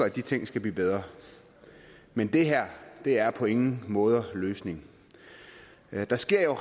at de ting skal blive bedre men det her er på ingen måde løsningen der sker